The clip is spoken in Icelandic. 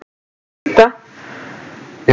Ég veit það ekki Grófasti leikmaður deildarinnar?